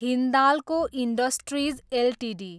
Hindalco industries Ltd